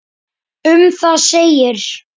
Um það segir